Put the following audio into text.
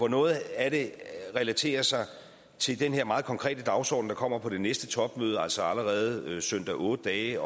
noget af det relaterer sig til den her meget konkrete dagsorden der kommer på det næste topmøde altså allerede søndag otte dage